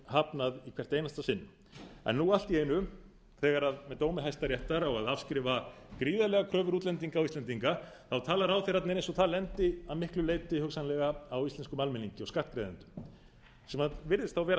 hafnað í hvert einasta sinn en nú allt í einu þegar í dómi hæstaréttar á að afskrifa gríðarlegar kröfur útlendinga á íslendinga tala ráðherrarnir eins og það lendi að miklu leyti hugsanlega á íslenskum almenningi og skattgreiðendum það virðist þá vera